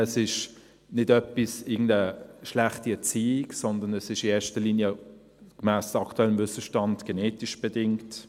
Es ist nicht irgendwie schlechte Erziehung, sondern es ist in erster Linie, gemäss aktuellem Wissensstand, genetisch bedingt.